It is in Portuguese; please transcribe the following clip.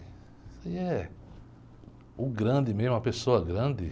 Isso aí é, o grande mesmo, a pessoa grande.